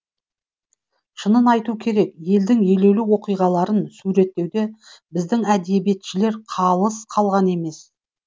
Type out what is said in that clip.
шынын айту керек елдің елеулі оқиғаларын суреттеуде біздің әдебиетшілер қалыс қалған емес